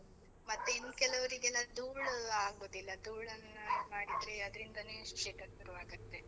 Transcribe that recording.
ಮತ್ತೆ ಇನ್ನ್ ಕೆಲೊವ್ರಿಗೆಲ್ಲ ಧೂಳೆಲ್ಲ ಆಗುದಿಲ್ಲ, ಧೂಳನ್ನ ಇದ್ ಮಾಡಿದ್ರೆ ಅದ್ರಿಂದನೇ ಶೀತ ಶುರ್ವಾಗತ್ತೆ.